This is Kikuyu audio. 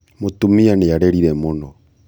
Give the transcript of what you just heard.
mũtumia nĩarĩrire mũno